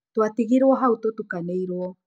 Twatigirũo hau, tũtukanĩirwo.